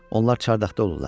Onlar çardaqda olurlar.